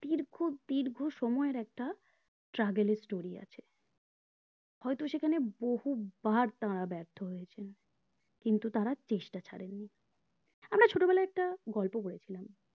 খুব দীর্ঘ সময়ের একটা struggle এর story আছে হয়তো সেখানে বহুবার তাঁরা ব্যার্থ হয়েছেন কিন্তু তাঁরা চেষ্টা ছাড়েননি আমরা চত্ববেলায় একটা গল্প পড়েছিলাম